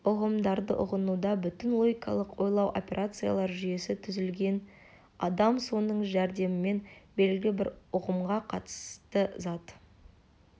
ұғымдарды ұғынуда бүтін логикалық ойлау операциялар жүйесі түзілген адам соның жәрдемімен белгілі бір ұғымға қатысты зат